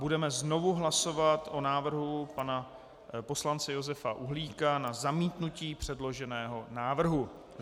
Budeme znovu hlasovat o návrhu pana poslance Josefa Uhlíka na zamítnutí předloženého návrhu.